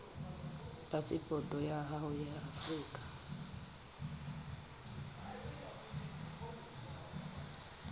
phasepoto ya hao ya afrika